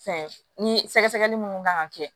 Fɛn ni sɛgɛsɛgɛli munnu kan ka kɛ